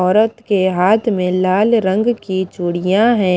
औरत के हाथ में लाल रंग की चूड़ियां है।